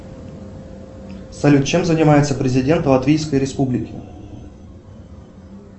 салют чем занимается президент латвийской республики